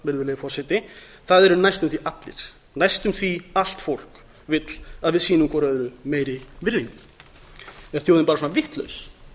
virðulegi forseti það eru næstum því allir næstum því allt fólk vill að við sýnum hvert öðru meiri virðingu er þjóðin bara svona vitlaus